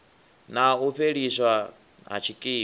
na u fheliswa ha tshikimu